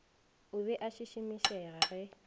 o be a šišimišega ge